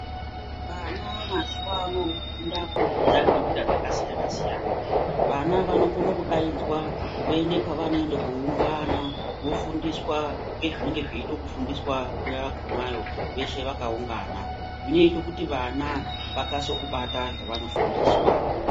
Vana mazuwaano vofunda kubudikidza ngenjira dzakasiyana-siyana. Vana vanokone kuunganidzwa voende pavanoende koungana, vofundiswa ngezvinenge zveide kufundiswa, nguwa yakhonayo veshe vakaungana. Zvinoite kuti vana vakase kubata zvavanofundiswa.